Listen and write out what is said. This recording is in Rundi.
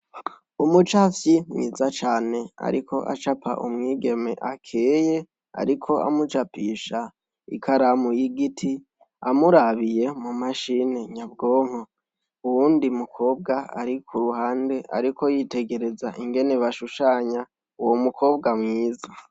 Umucafyi mwiza cane ariko acapa umwigeme akeye ariko amucapisha ikaramu y'igiti amurabiye mu mashini nyabwonko. Uwundi mukobwa ari ku ruhande ariko yitegereza ingene bashushanya uwo umukobwa mwiza.